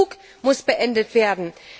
Dieser Spuk muss beendet werden!